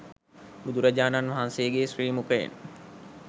බුදුරජාණන් වහන්සේගේ ශ්‍රී මුඛයෙන්